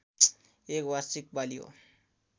एक वार्षिक बाली हो